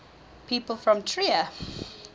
people from trier